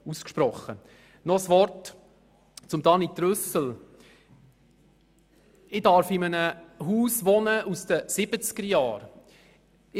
Noch ein Wort zu Grossrat Trüssel: Ich darf in einem Haus aus den 1970er-Jahren wohnen.